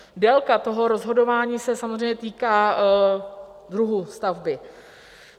Délka toho rozhodování se samozřejmě týká druhu stavby.